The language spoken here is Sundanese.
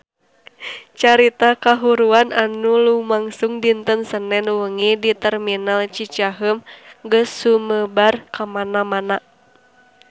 Carita kahuruan anu lumangsung dinten Senen wengi di Terminal Cicaheum geus sumebar kamana-mana